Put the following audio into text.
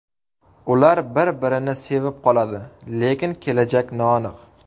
Ular bir-birini sevib qoladi, lekin kelajak noaniq.